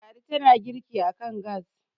ladi tana girki a kan gas